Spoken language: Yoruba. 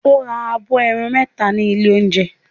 O ra abọ́ ẹran mẹ́ta ní ilé-oúnjẹ?